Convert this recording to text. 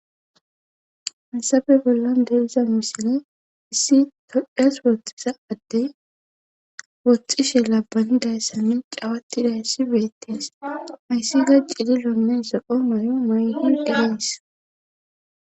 Hasabe bollan deliza misine issi todhdheyas wootxisa addey wottxishe labbanidayssa min cawattidayssi beettes ayssi ga cili loonne zoqo moy7o moy hun denees